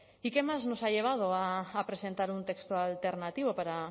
y qué más nos ha llevado a presentar un texto alternativo para